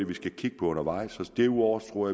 vi skal kigge på undervejs derudover tror